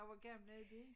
Hvor gamle er de?